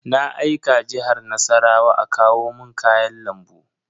Na aika Jihar Nassarawa a kawo mun kayan lambu.